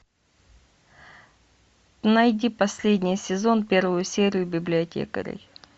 найди последний сезон первую серию библиотекарей